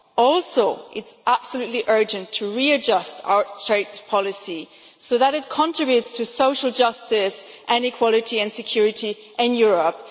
Also it is absolutely urgent to readjust our trade policy so that it contributes to social justice and equality and security in Europe.